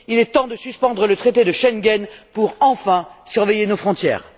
Il est temps de suspendre le traité de Schengen pour, enfin, surveiller nos frontières!